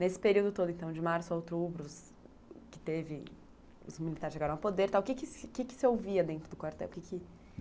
Nesse período todo, então, de março ao outubro, os militares chegaram ao poder e tal, o que que se ouvia dentro do quartel?